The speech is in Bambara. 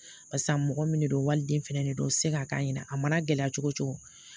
Barisa mɔgɔ min de don waliliden fɛnɛ de don o tɛ se ka k'a ɲɛna a mana gɛlɛya cogo cogo